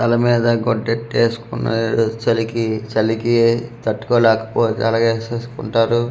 తల మీద గుడ్డ ఎట్టేసుకొని చలికి చలికి తట్టుకోలేకపోగా అలాగే ఎసేసుకుంటారు .]